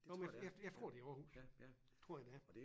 Jo men jeg jeg jeg tror det er Aarhus tror jeg det er